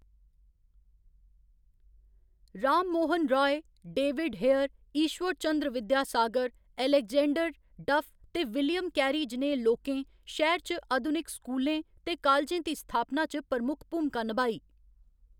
Ram Mohan Roy, David Hare, Ishwar Chandra Vidyasagar, Alexander Duff ते William Carey जनेह् लोकें शैह्‌र च अधुनिक स्कूलें ते कालेजें दी स्थापना च प्रमुख भूमका निभाई।